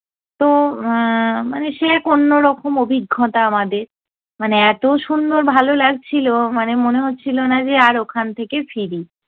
তো এ্যা মানে সে এক অন্যরকম অভিজ্ঞতা আমাদের, মানে এতো সুন্দর ভালো লাগছিলো মানে মনে হচ্ছিলো না যে আর ওখান থেকে ফিরি।